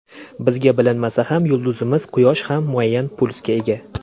Bizga bilinmasa ham, yulduzimiz Quyosh ham muayyan pulsga ega.